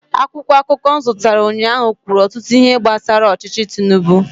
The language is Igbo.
akwụkwọ akụkọ m zụtara ụnyaahụ kwuru ọtụtụ ihe gbasara ọchịchị tinubu